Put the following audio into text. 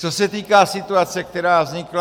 Co se týká situace, která vznikla.